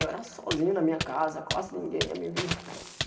Eu era sozinho na minha casa, quase ninguém ia me visitar.